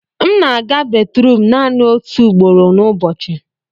m na-aga batrum naanị otu ugboro n'ụbọchị